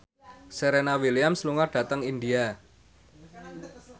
Serena Williams lunga dhateng India